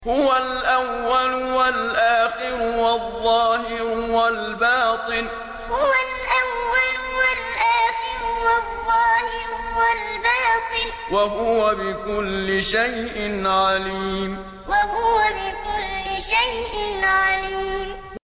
هُوَ الْأَوَّلُ وَالْآخِرُ وَالظَّاهِرُ وَالْبَاطِنُ ۖ وَهُوَ بِكُلِّ شَيْءٍ عَلِيمٌ هُوَ الْأَوَّلُ وَالْآخِرُ وَالظَّاهِرُ وَالْبَاطِنُ ۖ وَهُوَ بِكُلِّ شَيْءٍ عَلِيمٌ